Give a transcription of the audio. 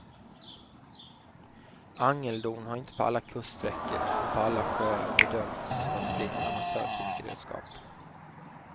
Angeldon har inte på alla kuststräckor och på alla sjöar bedömts som ett fritt amatörfiskeredskap.